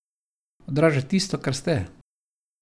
Odraža tisto, kar ste.